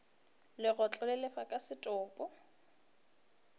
legotlo le lefa ka setopo